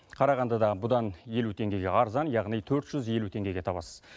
қарағандыда бұдан елу теңгеге арзан яғни төрт жүз елу теңгеге табасыз